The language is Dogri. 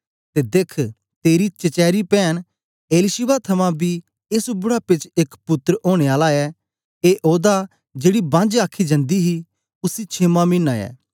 ते देख्ख तेरी चचेरी पैन एलीशिबा थमां बी एस बुढ़ापे च एक पुत्तर ओनें आला ऐ ए ओदा जेड़ी बांझ आखी जन्दी ही उसी छेमां मीना ऐ